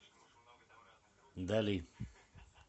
дали